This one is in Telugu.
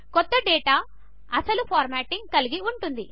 కొత్త డేటా అసలు ఫార్మాటింగ్ కలిగి ఉంటుంది